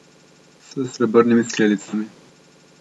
S srebrnimi skledicami.